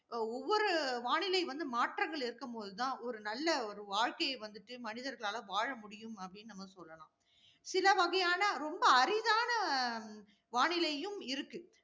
அஹ் ஒவ்வொரு வானிலை வந்து மாற்றங்கள் இருக்கும் போது தான், ஒரு நல்ல, ஒரு வாழ்க்கையை வந்துட்டு மனிதர்களால வாழ முடியும் அப்படின்னு நம்ம சொல்லலாம். சில வகையான, ரொம்ப அரிதான, ஆஹ் வானிலையும் இருக்கு.